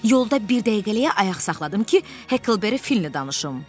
Yolda bir dəqiqəliyə ayaq saxladım ki, Heklberi Finlə danışım.